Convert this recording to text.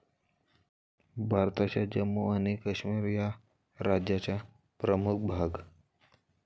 भारताच्या जम्मू आणि काश्मीर या राज्याचा प्रमुख भाग.